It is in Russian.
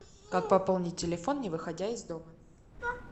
как пополнить телефон не выходя из дома